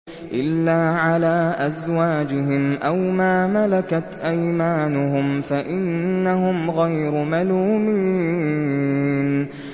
إِلَّا عَلَىٰ أَزْوَاجِهِمْ أَوْ مَا مَلَكَتْ أَيْمَانُهُمْ فَإِنَّهُمْ غَيْرُ مَلُومِينَ